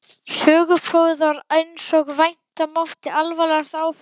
Söguprófið varð einsog vænta mátti alvarlegasta áfallið.